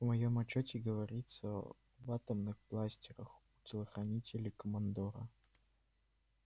в моем отчёте говорится об атомных бластерах у телохранителей командора